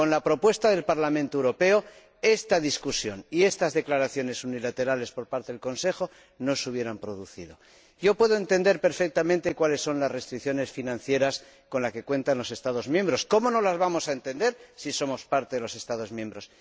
Con la propuesta del Parlamento Europeo, esta discusión y estas declaraciones unilaterales por parte del Consejo no se hubieran producido. Yo puedo entender perfectamente cuáles son las restricciones financieras con las que cuentan los Estados miembros —¿cómo no las vamos a entender, si somos parte de los Estados miembros?—,